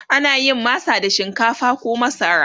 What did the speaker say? ana yin masa da shinkafa koh masara